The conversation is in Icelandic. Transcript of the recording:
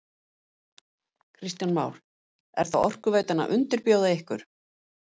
Kristján Már: Er þá Orkuveitan að undirbjóða ykkur?